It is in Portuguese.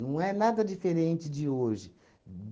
é nada diferente de hoje.